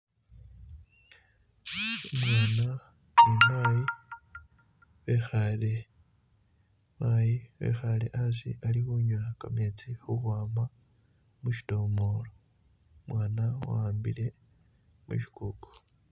Umwana ni mayi bekhale mayi ekhale hasi ali khunywa gameezi ukhwama muchidomolo umwana wahambile mushigugu.